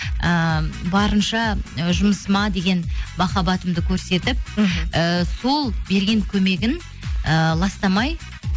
ыыы барынша ы жұмысыма деген махаббатымды көрсетіп іхі ііі сол берген көмегін ііі ластамай